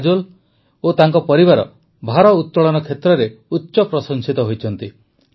କାଜୋଲ ଓ ତାଙ୍କ ପରିବାର ଭାରୋତଳନ କ୍ଷେତ୍ରରେ ଉଚ୍ଚପ୍ରଶଂସିତ ହୋଇଛନ୍ତି